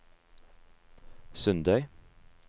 Sundøy